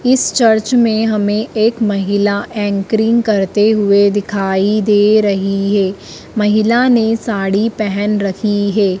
इस चर्च में हमें एक महिला एंकरिंग करते हुए दिखाई दे रही है महिला ने साड़ी पहेन रखी है।